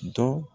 Dɔ